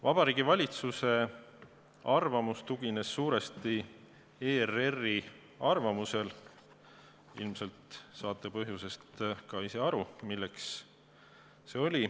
Vabariigi Valitsuse arvamus tugines suuresti ERR-i arvamusele, ilmselt saate põhjusest ka ise aru, miks see nii oli.